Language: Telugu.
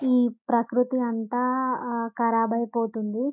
ఈ ప్రకృతి అంత కారాబాయి పోతుంది.